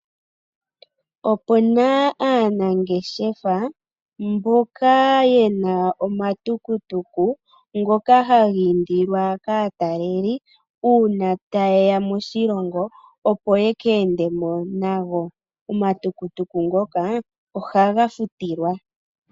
Opuna aanangeshefa mboka yena omatukutuku ngoka hagiindilwa kaataleli uuna tayeya moshilongo opo yekeendemo nago ,omatukutuku ngoka ohaga futilwa.